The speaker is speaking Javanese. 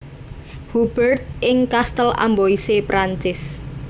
Hubert ing Kastel Amboise Perancis